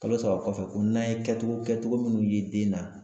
Kalo saba kɔfɛ ko n'an ye kɛcogo kɛcogo minnu ye den na